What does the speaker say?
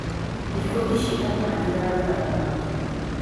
Thikũ ici andu matiragura thamaki